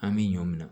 An bɛ ɲɔ minɛ